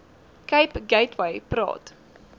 cape gateway praat